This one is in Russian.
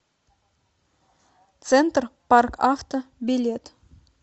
центр парк авто билет